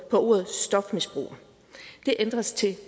ordet stofmisbruger det ændres til